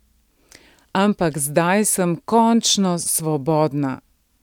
Ampak zdaj sem končno svobodna.